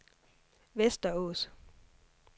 Västerås